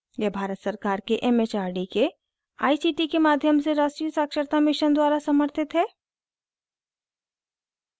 यह भारत सरकार के it it आर डी के आई सी टी के माध्यम से राष्ट्रीय साक्षरता mission द्वारा समर्थित है